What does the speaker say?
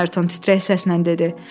Ayrton titrək səslə dedi.